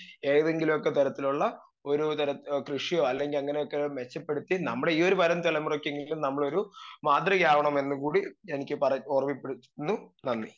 speaker 2 ഏതെങ്കിലൊക്കെ തരത്തിലുള്ള ഒരു തരം കൃഷി അല്ലെങ്കി അങ്ങനെയൊക്കെ മെച്ചപ്പെടുത്തി നമ്മടീ വരും തലമുറക്കെങ്കിലും നമ്മളൊരു മാതൃകയാവണമെന്നുകൂടി എനിക്ക് പറെ ഓർമപ്പെടുത്തുന്നു നന്ദി